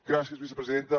gràcies vicepresidenta